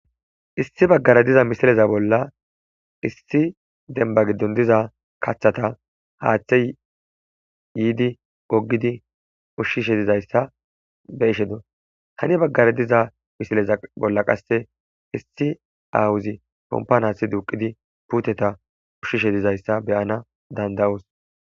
Issi baggare diza misileza bolla issi denba giddon diza kaththata haaththe yiidi gogidi ushshishe dizayssa be ishe do hani baggare diza misileza bolla qasse issi awuzi kompanasi duuqidi puuteta ushshishe dizayssa beyana danda'oos